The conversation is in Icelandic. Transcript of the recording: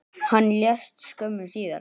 Hann lést skömmu síðar.